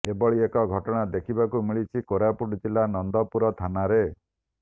ଏଭଳି ଏକ ଘଟଣା ଦେଖିବାକୁ ମିଳିଛି କୋରାପୁଟ ଜିଲ୍ଲା ନନ୍ଦପୁର ଥାନାରେ